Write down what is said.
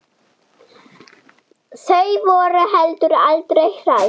Þau voru heldur aldrei hrædd.